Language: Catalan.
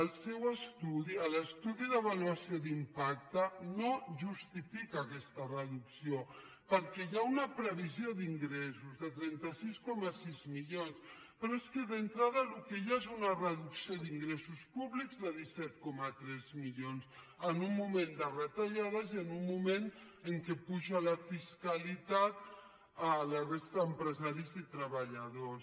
el seu estudi l’estudi d’avaluació d’impacte no justifica aquesta reducció perquè hi ha una previsió d’ingressos de trenta sis coma sis milions però és que d’entrada el que hi ha és una reducció d’ingressos públics de disset coma tres milions en un moment de retallades i en un moment en què puja la fiscalitat a la resta d’empresaris i treballadors